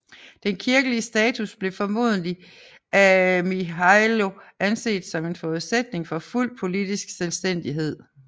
Den kirkelige status blev formodentlig af Mihailo anset som en forudsætning for fuld politisk selvstændighed